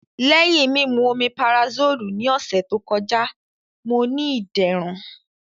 Lẹhin mimu Omeparasolu ni ọsẹ to kọja, Mo ni iderun.